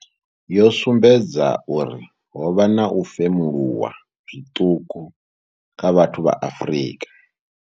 Yo sumbedza uri ho vha na u femuluwa zwiṱuku kha vhathu vha Afrika.